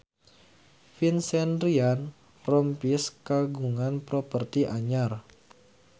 Vincent Ryan Rompies kagungan properti anyar